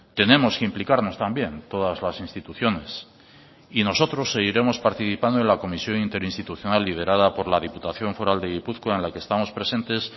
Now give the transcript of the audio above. tenemos que implicarnos también todas las instituciones y nosotros seguiremos participando en la comisión interinstitucional liderada por la diputación foral de gipuzkoa en la que estamos presentes